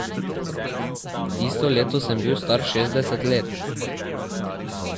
Tisto leto sem bil star šestdeset let.